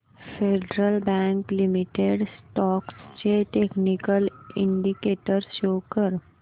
federal Bank Limited stocks चे technical indicators show कर